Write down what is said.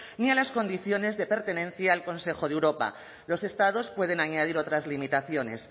ni a las condiciones de pertenencia al consejo de europa los estados pueden añadir otras limitaciones